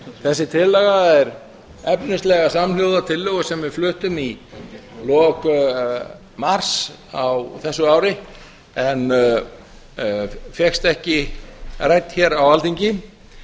þessi tillaga er efnislega samhljóða tillögu sem við fluttum í lok mars á þessu ári en fékkst ekki rædd hér á alþingi